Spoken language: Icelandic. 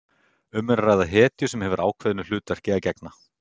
Um er að ræða hetju sem hefur ákveðnu hlutverki að gegna.